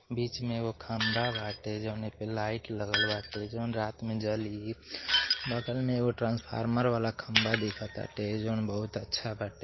बीच में एगो खम्बा बाटे जउने पे लाइट लगल बाटे जोन रात के जली। बगल में एगो ट्रांसफार्मर वाला खम्बा दिखताटे जोन बहुत अच्छा बाटे।